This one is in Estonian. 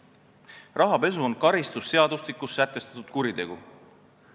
Rahapesu on karistusseadustikus sätestatud kuritegu.